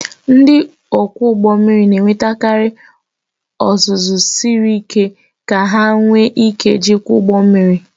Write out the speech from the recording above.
Ndị ọkwọ ụgbọ mmiri na-enwetakarị ọzụzụ siri ike ka ha nwee ike ijikwa ụgbọ mmiri